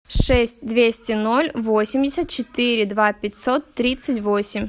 шесть двести ноль восемьдесят четыре два пятьсот тридцать восемь